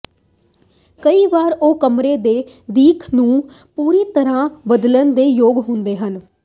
ਕਈ ਵਾਰ ਉਹ ਕਮਰੇ ਦੇ ਦਿੱਖ ਨੂੰ ਪੂਰੀ ਤਰ੍ਹਾਂ ਬਦਲਣ ਦੇ ਯੋਗ ਹੁੰਦੇ ਹਨ